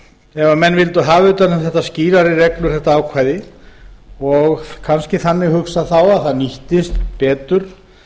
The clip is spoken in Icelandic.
ef menn vildu hafa utan um þetta ákvæði skýrari reglur og kannski þannig hugsað þá að það nýttist betur